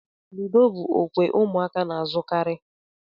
Ludo bụ okwe ụmụaka na-azukari.